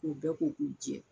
K'u bɛɛ ko k'u jɛ.